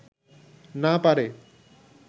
না পারে